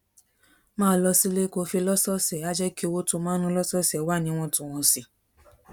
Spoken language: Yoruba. máa lọ sílé kó o ṣe lọ́sọ̀ọ̀sẹ̀ á jẹ́ kí owó tó o ma ń ná lọ́sọ̀ọ̀sẹ̀ wà níwọ̀ntúnwọ̀nsì